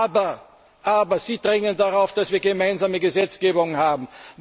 Aber Sie drängen darauf, dass wir gemeinsame Gesetzgebungen haben.